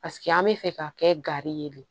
Paseke an bɛ fɛ ka kɛ gari ye de